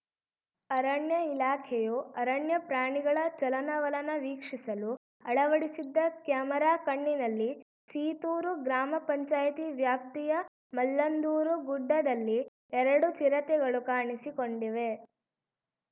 ಅರಣ್ಯ ಇಲಾಖೆಯು ಅರಣ್ಯ ಪ್ರಾಣಿಗಳ ಚಲನವಲನ ವೀಕ್ಷಿಸಲು ಅಳವಡಿಸಿದ್ದ ಕ್ಯಾಮೆರಾ ಕಣ್ಣಿನಲ್ಲಿ ಸೀತೂರು ಗ್ರಾಮ ಪಂಚಾಯಿತಿ ವ್ಯಾಪ್ತಿಯ ಮಲ್ಲಂದೂರು ಗುಡ್ಡದಲ್ಲಿ ಎರಡು ಚಿರತೆಗಳು ಕಾಣಿಸಿಕೊಂಡಿವೆ